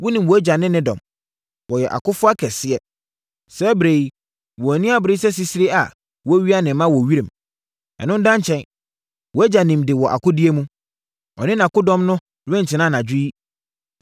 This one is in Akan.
Wonim wʼagya ne ne dɔm; wɔyɛ akofoɔ akɛseɛ. Saa ɛberɛ yi, wɔn ani abre sɛ sisire a wɔawia ne mma wɔ wiram. Ɛno da nkyɛn a, wʼagya nim de wɔ akodie mu. Ɔne nʼakodɔm no rentena anadwo yi.